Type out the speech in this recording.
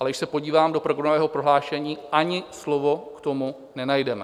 Ale když se podívám do programového prohlášení, ani slovo k tomu nenajdeme.